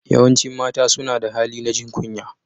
Yawancin mata suna da hali na jin kunya.